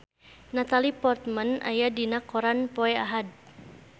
Natalie Portman aya dina koran poe Ahad